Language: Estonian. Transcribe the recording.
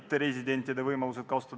Palun järgmisena Kalvi Kõva kõnepulti.